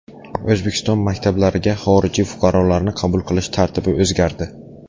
O‘zbekiston maktablariga xorijiy fuqarolarni qabul qilish tartibi o‘zgardi.